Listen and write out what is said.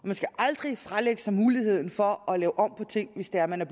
man skal aldrig fralægge sig muligheden for at lave om på ting hvis det er at man er